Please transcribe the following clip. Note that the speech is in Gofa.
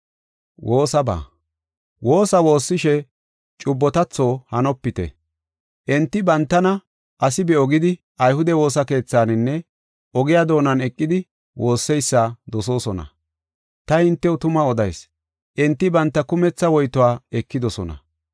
“Woosa woossishe cubbotatho hanopite. Enti, bantana asi be7o gidi ayhude woosa keethaninne ogiya doonan eqidi woosseysa dosoosona. Ta hintew tuma odayis; enti banta kumetha woytuwa ekidosona.